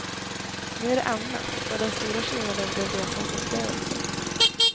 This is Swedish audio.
Nu är det annat, och den stora skillnaden blev resans upplevelse.